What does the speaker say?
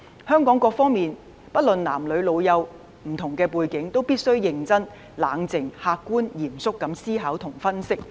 香港各方面，不論男女老幼及不同背景，都必須認真、冷靜、客觀、嚴肅思考及分析。